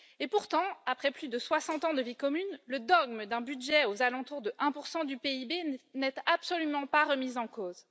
Pourtant, après plus de 60 ans de vie commune, le dogme d'un budget aux alentours de 1 du PIB n'est absolument pas remis en cause.